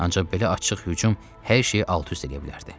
Ancaq belə açıq hücum hər şeyi alt-üst eləyə bilərdi.